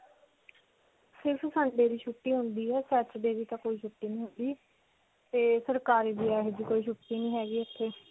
ਸਿਰਫ sunday ਦੀ ਛੁੱਟੀ ਹੁੰਦੀ ਹੈ. saturday ਤਾਂ ਕੋਈ ਛੁੱਟੀ ਨਹੀਂ ਹੁੰਦੀ. ਤੇ ਸਰਕਾਰੀ ਦੀ ਕੋਈ ਛੁੱਟੀ ਨਹੀਂ ਹੈਗੀ ਇੱਥੇ.